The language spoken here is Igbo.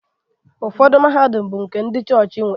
Ụfọdụ mahadum bụ ndị chọọchị nwe